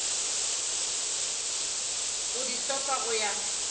go di hlopha go ya